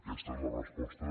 aquesta és la resposta